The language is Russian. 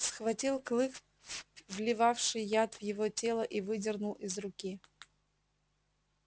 схватил клык вливавший яд в его тело и выдернул из руки